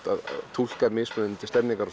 túlka mismunandi